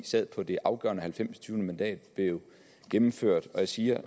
sad på det afgørende halvfemsindstyvende mandat blev gennemført og jeg siger